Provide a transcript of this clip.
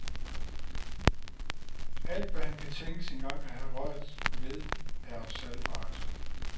Alt, hvad han kan tænkes engang at have rørt, ved er salgbart.